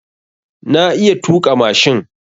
Na iya tuƙa mashin.